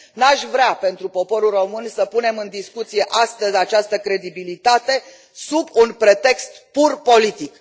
Nu aș vrea, pentru poporul român, să punem în discuție astăzi această credibilitate sub un pretext pur politic.